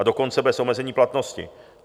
A dokonce bez omezení platnosti.